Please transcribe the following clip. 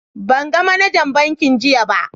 ban gan managan bankin jiya ba.